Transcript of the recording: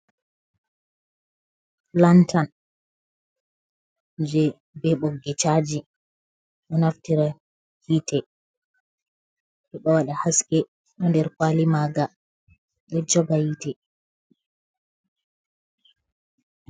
Lantan je be ɓoggi caji o naftira hite heba wada haske, ɗo nder kwali maga ɗo joga yiite.